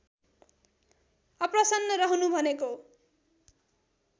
अप्रसन्न रहनु भनेको